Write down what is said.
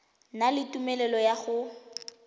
na le tumelelo ya go